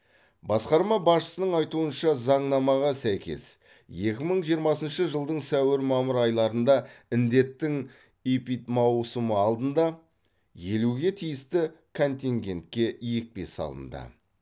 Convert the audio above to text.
басқарма басшысының айтуынша заңнамаға сәйкес екі мың жиырмасыншы жылдың сәуір мамыр айларында індеттің эпидмаусымы алдында елуге тиісті контингентке екпе салынады